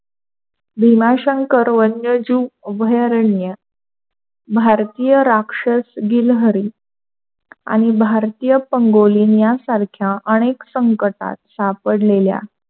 भीमाशंकर वन्यजीव अभयारण्य भारतीय राक्षस गील्हारी आणि भारतीय पंगोलीनिया सारख्या अनेक संकटात सापडलेल्या,